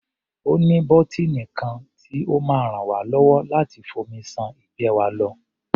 Ó ní bọ́tíìnì kan tí ó máa ràn wá lọ́wọ́ láti fomi ṣan ìgbẹ́ wa lọ.